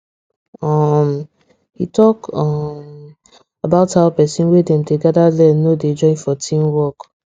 um he talk um about how person wey dem dey gather learn no dey join for team work